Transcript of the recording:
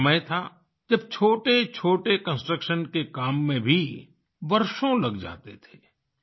एक समय था जब छोटेछोटे कंस्ट्रक्शन के काम में भी वर्षों लग जाते थे